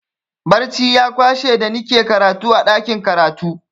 Barci ya kwashe da nike karatu a ɗakin karatu.